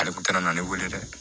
Ale kun taara n'ale wele dɛ